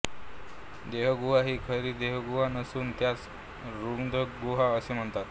देहगुहा ही खरी देहगुहा नसून त्यास रुधिरगुहा असे म्हणतात